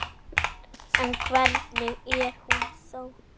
En hvernig er hún þá?